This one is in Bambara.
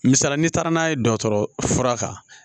Misalila n'i taara n'a ye dɔgɔtɔrɔ fura kan